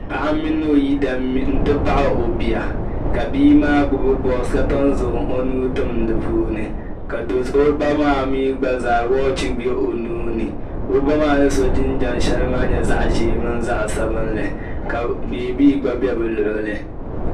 paɣa mini o yidana nti pahi o bia ka bia maa gbubi boosi ka tomi zaŋ o nuu tim di puuni ka do'so o ba maami gba za waachi bɛ o nuuni ka o ba maa ni so jinjɛm shɛli maa nyɛ zaɣ'ʒee mini zaɣ'sabinli ka bɛbiee gba bɛ be o lɔɣili.